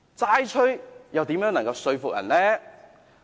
"齋吹"又如何能說服人呢？